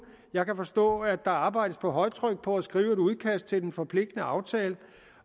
jeg kan forstå at der arbejdes på højtryk på at skrive et udkast til den forpligtende aftale